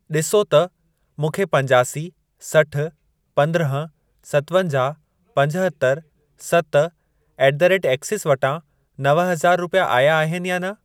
ॾिसो त मूंखे पंजासी, सठ, पंद्रहं, सतवंजाहु, पंजहतरि, सत ऍट द रेट एक्सीस वटां नव हज़ार रुपिया आया आहिनि या न।